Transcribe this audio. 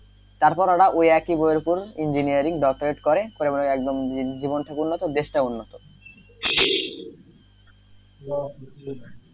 তারপর ওরা ওই একি বইয়ের ওপর engineering doctorate করে করে একদম জীবনটাও উন্নত দেশটাও উন্নত,